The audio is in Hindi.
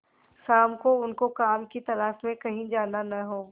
शाम को उनको काम की तलाश में कहीं जाना न हो